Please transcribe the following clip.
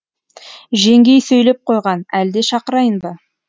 жеңгей сөйлеп қойған әлде шақырайын ба